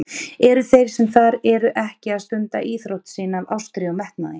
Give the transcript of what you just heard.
Eru þeir sem þar eru ekki að stunda íþrótt sína af ástríðu og metnaði?